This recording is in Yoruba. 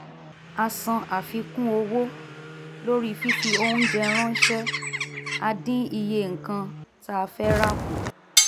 a san àfikún owó lórí fífi oúnjẹ ránṣẹ́ a dín iye nǹkan tá fẹ́ rà kù